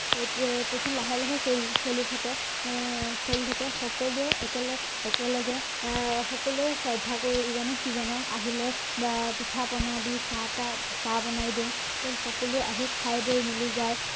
তেতিয়া তেতিয়া লাহে লাহে চলি চলি থাকে আহ চলি থাকে সকলোৱে একেলগে একেলগে আহ সকলোৱে শ্ৰদ্ধা কৰো ইজনে সিজনক আহিলে বা পিঠা পনা দি চাহ তাহ চাহ বনাই দিও সকলোৱে আহি মিলি খাই বৈ যায়